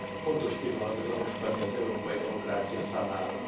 Fontos pillanat ez a mostani az európai demokrácia számára.